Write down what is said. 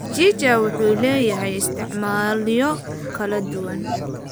Mchicha wuxuu leeyahay isticmaalyo kala duwan.